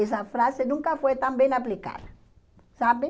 Essa frase nunca foi tão bem aplicada, sabe?